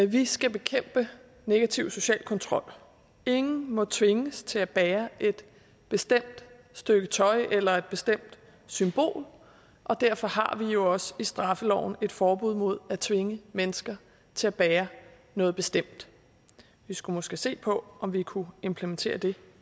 vi skal bekæmpe negativ social kontrol ingen må tvinges til at bære et bestemt stykke tøj eller et bestemt symbol og derfor har vi jo også i straffeloven et forbud mod at tvinge mennesker til at bære noget bestemt vi skulle måske se på om vi kunne implementere det